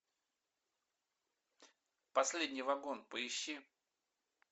последний вагон поищи